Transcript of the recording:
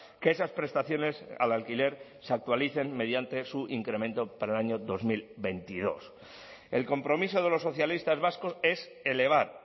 que esas prestaciones al alquiler se actualicen mediante su incremento para el año dos mil veintidós el compromiso de los socialistas vascos es elevar